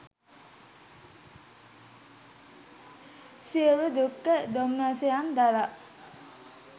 සියලු දුක්ඛ දෝමනස්සයන් දරා